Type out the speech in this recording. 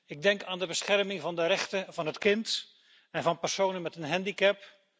Ik denk aan de bescherming van de rechten van het kind en van personen met een handicap.